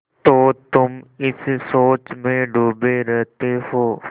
तो तुम इस सोच में डूबे रहते हो